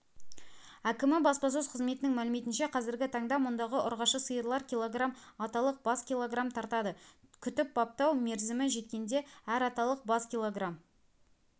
әкімі баспасөз қызметінің мәліметінше қазіргі таңда мұндағы ұрғашы сиырлар кг аталық бас кг тартады күтіп-баптау мерзімі жеткенде әр аталық бас кг